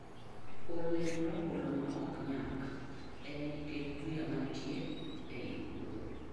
Olemb rabolo ma ok nyak en nikech buya manitie ei puodho.